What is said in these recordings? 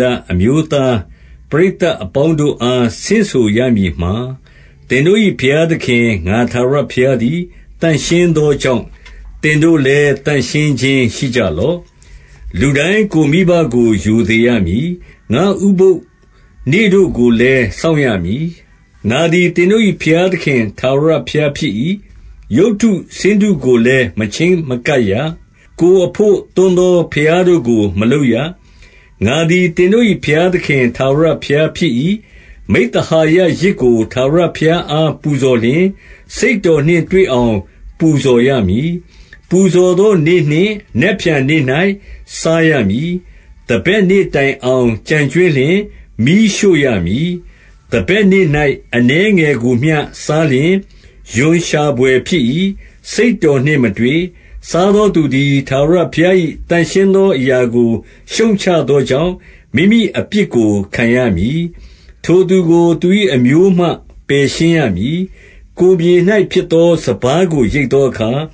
လအမျိုးသား ပရိသတ်အပေါင်းတို့အား ဆင့်ဆိုရမည်မှာ၊ သင်တို့၏ ဘုရားသခင် ငါထာဝရဘုရားသည် သန့်ရှင်းသောကြောင့်၊ သင်တို့လည်း သန့်ရှင်းခြင်းရှိကြလော့။ 3 လူတိုင်း ကိုယ်မိဘကို ရိုသေရမည်။ ငါ့ဥပုသ်နေ့တို့ကိုလည်း စောင့်ရမည်။ ငါသည် သင်တို့၏ ဘုရားသခင် ထာဝရဘုရားဖြစ်၏။ 4 ရုပ်တုဆင်းတုကိုလည်း မချဉ်းမကပ်ရ။ ကိုယ်အဘို့သွန်းသော ဘုရားတို့ကို မလုပ်ရ။ ငါသည် သင်တို့၏ ဘုရားသခင် ထာဝရဘုရားဖြစ်၏။ 5 မိဿဟာယယဇ်ကို ထာဝရဘုရားအား ပူဇော်လျှင်၊ စိတ်တော်နှင့်တွေ့အောင် ပူဇော်ရမည်။ 6 ပူဇော်သောနေ့နှင့် နက်ဖြန်နေ့၌ စားရမည်။ သန်ဘက်နေ့တိုင်အောင် ကျန်ကြွင်းလျှင် မီးရှို့ရမည်။ 7 သန်ဘက်နေ့၌ အနည်းငယ်ကိုမျှ စားလျှင် ရွံရှာဘွယ်ဖြစ်၏။ စိတ်တော်နှင့်မတွေ့။ 8 စားသောသူသည် ထာဝရဘုရား၏ သန့်ရှင်းသောအရာကို ရှုတ်ချသောကြောင့် မိမိအပြစ်ကို ခံရမည်။ ထိုသူကို သူ၏အမျိုးမှ ပယ်ရှင်းရမည်။ 9 ကိုယ်မြေ၌ဖြစ်သော စပါးကိုရိတ်သောအခါ၊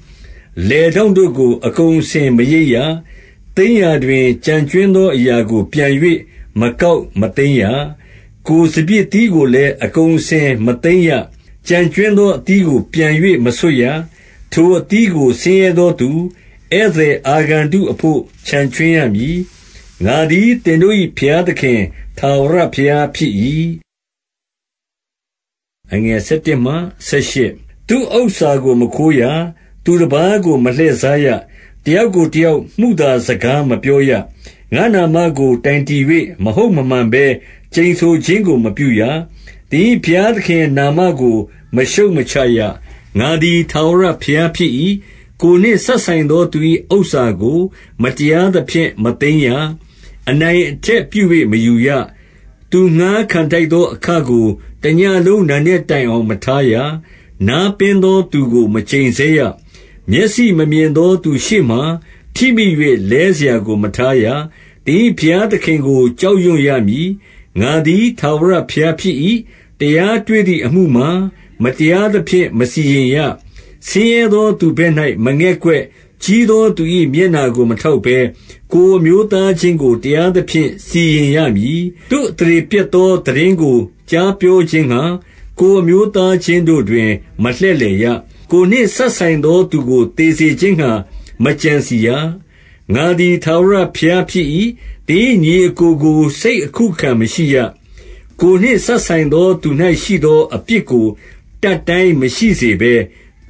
လယ်ထောင့်တို့ကို အကုန်အစင် မရိတ်ရ။ သိမ်းရာတွင် ကျန်ကြွင်းသော အရာကို ပြန်၍ မကောက်မသိမ်းရ။ 10 ကိုယ်စပျစ်သီးကိုလည်း အကုန်အစင် မသိမ်းရ။ ကျန်ကြွင်းသော အသီးကို ပြန်၍ မဆွတ်ရ။ ထိုအသီးကို ဆင်းရဲသောသူ ဧည့်သည် အာဂန္တုအဘို့ ချန်ခြွင်းရမည်။ ငါသည် သင်တို့၏ ဘုရားသခင် ထာဝရဘုရား ဖြစ်၏။ 11 သူ့ဥစ္စာကို မခိုးရ။ သူတပါးကို မလှည့်စားရ။ တယောက်ကိုတယောက် မုသာစကားမပြောရ။ 12 ငါ့နာမကို တိုင်တည်၍ မဟုတ်မမှန်ဘဲ ကျိန်ဆိုခြင်းကို မပြုရ။ သင်၏ ဘုရားသခင်နာမကို မရှုတ် မချရ။ ငါသည် ထာဝရဘုရား ဖြစ်၏။ 13 ကိုယ်နှင့်စပ်ဆိုင်သော သူ၏ဥစ္စာကို မတရားသဖြင့် မသိမ်းရ။ အနိုင်အထက်ပြု၍ မယူရ။ သူငှါးခံ ထိုက်သော အခကို တညဉ့်လုံး နံနက်တိုင်အောင် မထားရ။ 14 နားပင်းသော သူကို မကျိန်ဆဲရ။ မျက်စိမမြင်သောသူရှေ့မှာ ထိမိ၍ လဲစရာကို မထားရ။ သင်၏ ဘုရားသခင်ကို ကြောက်ရွံ့ရမည်။ ငါသည် ထာဝရဘုရားဖြစ်၏။ 15 တရားတွေ့သည်အမှုမှာ မတရားသဖြင့် မစီရင်ရ။ ဆင်းရဲသောသူဘက်၌ မငဲ့ကွက်၊ ကြီးသောသူ၏ မျက်နှာကို မထောက်ဘဲ၊ ကိုယ်အမျိုးသားချင်းကို တရားသဖြင့် စီရင်ရမည်။ 16 သူ့အသရေပျက်သော သိတင်းကို ကြားပြောခြင်းငှါ၊ ကိုယ်အမျိုးသားချင်းတို့တွင် မလှည့်လည်ရ။ ကိုယ်နှင့်စပ်ဆိုင်သောသူကို သေစေခြင်းငှါ မကြံစည်ရ။ ငါသည် ထာဝရဘုရား ဖြစ်၏။ 17 သင်၏ ညီအစ်ကိုကို စိတ်အခုအခံမရှိရ။ ကိုယ်နှင့် စပ်ဆိုင်သော သူ၌ရှိသော အပြစ်ကို တတ်တိုင်း မရှိစေဘဲ၊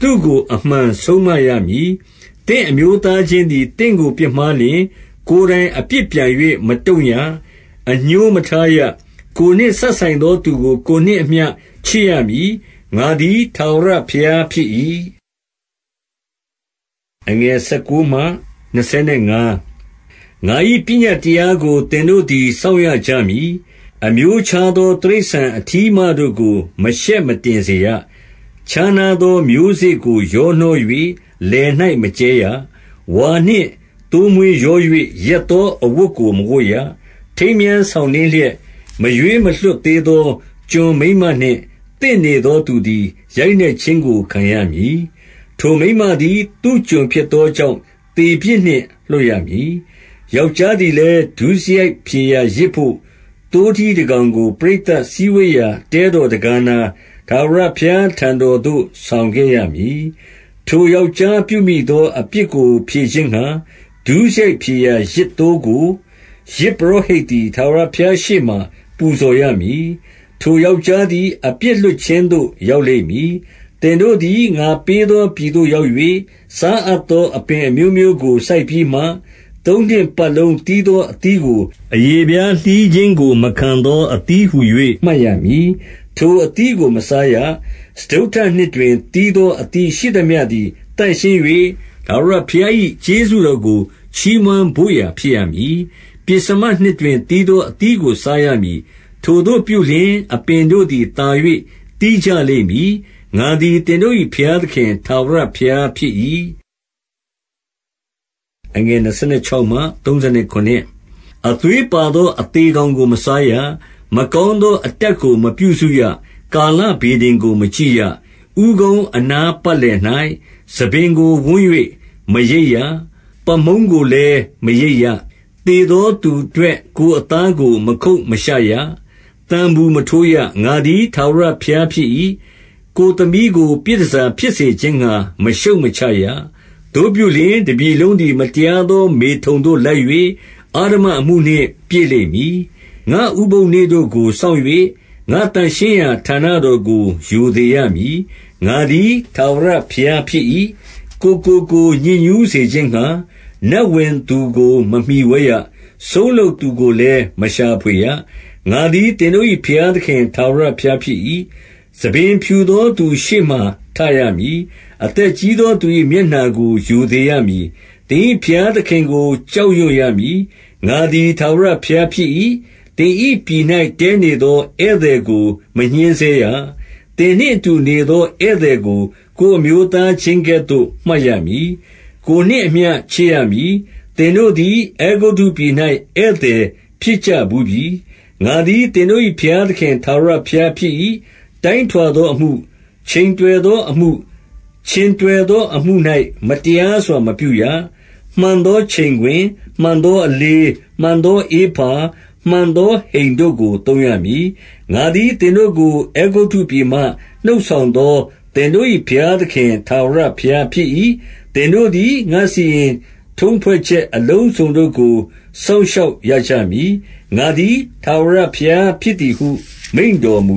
သူ့ကို အမှန်ဆုံးမရမည်။ 18 သင့်အမျိုးသားချင်းသည် သင့်ကို ပြစ်မှားလျှင်၊ ကိုယ်တိုင် အပြစ်ပြန်၍ မတုံ့ရ။ အငြိုးမထားရ။ ကိုယ်နှင့်စပ်ဆိုင်သောသူကို ကိုယ်နှင့်အမျှ ချစ်ရမည်။ ငါသည် ထာဝရဘုရားဖြစ်၏။ 19 ငါ၏ ပညတ်တရားကို သင်တို့သည် စောင့်ရကြမည်။ အမျိုးခြားသော တိရစ္ဆာန် အထီးအမတို့ကို မရှက်မတင်စေရ။ ခြားနားသော မျိုးစေ့ကို ရောနှော၍ လယ်၌ မကြဲရ။ ဝါနှင့်သိုးမွေး ရော၍ ရက်သောအဝတ်ကို မဝတ်ရ။ 20 ထိမ်းမြားဆောင်နှင်းလျက်၊ မရွေးမလွှတ်သေးသော ကျွန်မိန်းမနှင့် သင့်နေသောသူသည် ရိုက်နှက် ခြင်းကို ခံရမည်။ ထိုမိန်းမသည် သူ့ကျွန်ဖြစ်သောကြောင့် သေပြစ်နှင့် လွတ်ရမည်။ 21 ယောက်ျားသည်လည်း၊ ဒုစရိုက်ဖြေရာယဇ်ဘို့ သိုးထီးတကောင်ကို ပရိသတ်စည်းဝေးရာ တဲတော် တံခါးနား ထာဝရဘုရားထံတော်သို့ ဆောင်ခဲ့ရမည်။ 22 ထိုယောက်ျားပြုမိသောအပြစ်ကို ဖြေခြင်းငှါ၊ ဒုစရိုက်ဖြေရာယဇ် သိုးကို၊ ယဇ်ပုရောဟိတ်သည် ထာဝရဘုရားရှေ့မှာ ပူဇော်ရမည်။ ထိုယောက်ျားသည် အပြစ်လွတ်ခြင်းသို့ ရောက်လိမ့်မည်။ 23 သင်တို့သည် ငါပေးသောပြည်သို့ ရောက်၍၊ စားအပ်သော အပင်အမျိုးမျိုးကို စိုက်ပြီးမှ၊ သုံးနှစ်ပတ် လုံးသီးသော အသီးကို၊ အရေဖျားလှီးခြင်းကို မခံသော အသီးဟူ၍ မှတ်ရမည်။ ထိုအသီးကို မစားရ။ 24 စတုတ္ထနှစ်တွင် သီးသောအသီးရှိသမျှသည် သန့်ရှင်း၍၊ ထာဝရဘုရား၏ ကျေးဇူးတော်ကို ချီးမွမ်း ဘို့ရာ ဖြစ်ရမည်။ 25 ပဥ္စမနှစ်တွင် သီးသောအသီးကို စားရမည်။ ထိုသို့ပြုလျှင် အပင်တို့သည် သာ၍ သီးကြလိမ့်မည်။ ငါသည် သင်တို့၏ဘုရားသခင် ထာဝရဘုရားဖြစ်၏။ 26 အသွေးပါသော အသေကောင်ကို မစားရ။ မကောင်းသော အတတ်ကို မပြုစုရ။ ကာလဗေဒင်ကို မကြည့်ရ။ 27 ဦးခေါင်းအနားပတ်လည်၌ ဆံပင်ကိုဝန်း၍ မရိတ်ရ။ ပါးမုန်းကိုလည်း မရိတ်ရ။ 28 သေသောသူအတွက် ကိုယ်အသားကို မခုတ်မရှရ။ သံပူမထိုးရ။ ငါသည် ထာဝရဘုရားဖြစ်၏။ 29 ကိုယ်သမီးကို ပြည်တန်ဆာဖြစ်စေခြင်းငှါ မရှုတ်မချရ။ သို့ပြုလျှင် တပြည်လုံးသည် မတရားသော မေထုန်သို့လိုက်၍၊ အဓမ္မအမှုနှင့် ပြည့်လိမ့်မည်။ 30 ငါ့ဥပုသ်နေ့တို့ကို စောင့်၍၊ ငါ့သန့်ရှင်းရာဌာနတော်ကို ရိုသေရမည်။ ငါသည် ထာဝရဘုရားဖြစ်၏။ 31 ကိုယ်ကိုကိုယ် ညစ်ညူးစေခြင်းငှါ၊ နတ်ဝင်သူကို မမှိဝဲရ။ စုန်းလုပ်သူကိုလည်း မရှာဖွေရ။ ငါသည် သင်တို့၏ ဘုရားသခင် ထာဝရဘုရားဖြစ်၏။ 32 ဆံပင်ဖြူသောသူရှေ့မှာ ထရမည်။ အသက်ကြီးသောသူ၏ မျက်နှာကို ရိုသေရမည်။ သင်၏ ဘုရားသခင်ကို ကြောက်ရွံရမည်။ ငါသည် ထာဝရဘုရားဖြစ်၏။ 33 သင်၏ ပြည်၌ တည်းနေသော ဧည့်သည်ကို မညှဉ်းဆဲရ။ 34 သင်နှင့်အတူနေသော ဧည့်သည်ကို ကိုယ်အမျိုးသားချင်းကဲ့သို့ မှတ်ရမည်။ ကိုယ်နှင့်အမျှ ချစ်ရမည်။ သင်တို့သည် အဲဂုတ္တုပြည်၌ ဧည့်သည်ဖြစ်ကြဘူးပြီ။ ငါသည် သင်တို့၏ ဘုရားသခင် ထာဝရဘုရား ဖြစ်၏။ 35 တိုင်းထွာသောအမှု၊ ချိန်တွယ်သောအမှု၊ ခြင်တွက်သောအမှု၌ မတရားစွာ မပြုရ။ 36 မှန်သောချိန်ခွင်၊ မှန်သောအလေး၊ မှန်သောဧဖာ၊ မှန်သောဟိန်တို့ကို သုံးရမည်။ ငါသည်သင်တို့ကို အဲဂုတ္တုပြည်မှ နှုတ်ဆောင်သော သင်တို့၏ ဘုရားသခင်ထာဝရဘုရားဖြစ်၏။ 37 သင်တို့သည် ငါ့စီရင်ထုံးဖွဲ့ချက် အလုံးစုံတို့ကို စောင့်ရှောက်ရကြမည်။ ငါသည် ထာဝရဘုရား ဖြစ်သည်ဟု မိန့်တော်မူ